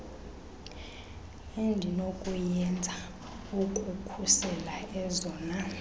endinokuyenza ukukhusela ezona